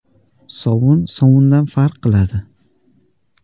Sovun sovundan farq qiladi.